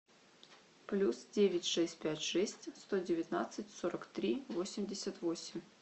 плюс девять шесть пять шесть сто девятнадцать сорок три восемьдесят восемь